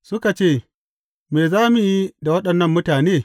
Suka ce, Me za mu yi da waɗannan mutane?